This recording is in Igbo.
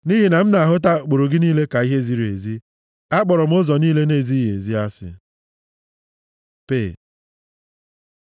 nʼihi na m na-ahụta ụkpụrụ gị niile ka ihe ziri ezi, akpọrọ m ụzọ niile na-ezighị ezi asị. פ Pe